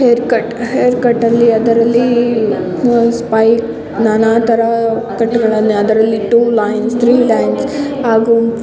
hair cut hair cut ಅದರಲ್ಲಿ spike ನಾನಾ ತರದಕಟ್ ಹಾಗು --